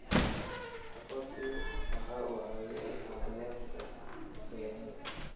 Aqoonsigu waxa uu caawiyaa la dagaallanka khiyaanada.